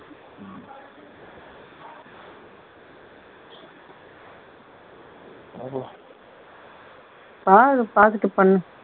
ஆளு பாத்துட்டு பண்ணு